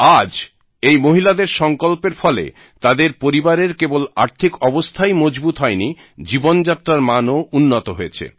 আজ এই মহিলাদের সংকল্পের ফলে তাদের পরিবারের কেবল আর্থিক অবস্থাই মজবুত হয়নি জীবনযাত্রার মানও উন্নত হয়েছে